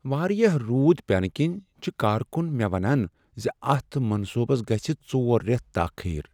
واریاہ روٗد پینہٕ کِنۍ، چھ کارکن مےٚ ونان زِ اتھ منصوبس گژھ ژور ریتھ تاخیر۔